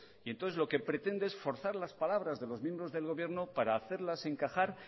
y entonces lo que pretende es forzar las palabras de los miembros del gobierno para hacerlas encajar